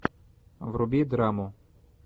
вруби драму